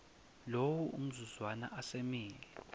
lowo mzuzwana asemile